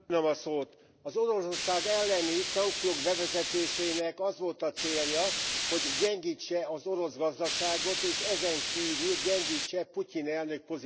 Az Oroszország elleni szankciók bevezetésének az volt a célja, hogy gyengítse az orosz gazdaságot, és ezenkívül gyengítse Putyin elnök pozícióját.